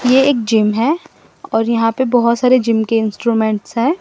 ये एक जिम है और यहां पे बहोत सारे जिम के इंस्ट्रूमेंट्स है।